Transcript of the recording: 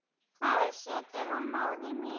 þar situr hún móðir mín